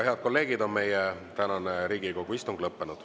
Head kolleegid, meie tänane Riigikogu istung on lõppenud.